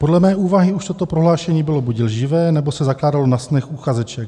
Podle mé úvahy už toto prohlášení bylo buď lživé, nebo se zakládalo na snech uchazeče.